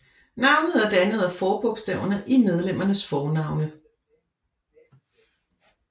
Navnet er dannet af forbogstaverne i medlemmernes fornavne